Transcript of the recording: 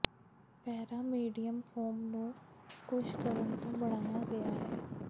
ਪੈਰਾ medium foam ਨੂੰ ਕੂਸ਼ ਕਰਨ ਤੋਂ ਬਣਾਇਆ ਗਿਆ ਹੈ